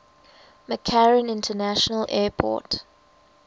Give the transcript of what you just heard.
mccarran international airport